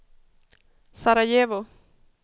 Sarajevo